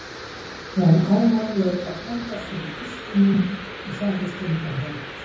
Jón Ármann leit á frænda sinn í kistunni og sagði stundarhátt